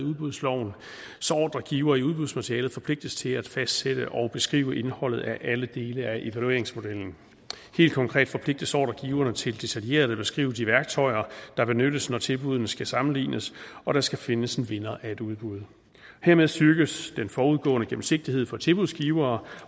udbudsloven så ordregiver i udbudsmaterialet forpligtes til at fastsætte og beskrive indholdet af alle dele af evalueringsmodellen helt konkret forpligtes ordregiverne til detaljeret at beskrive de værktøjer der benyttes når tilbuddene skal sammenlignes og der skal findes en vinder af et udbud hermed styrkes den forudgående gennemsigtighed for tilbudsgivere